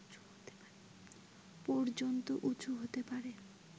পর্যন্ত উঁচু হতে পারে